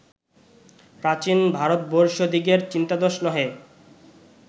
প্রাচীন ভারতবর্ষীয়দিগের চিন্তাদোষ নহে